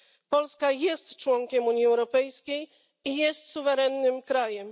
Polska jest członkiem Unii Europejskiej i jest suwerennym krajem.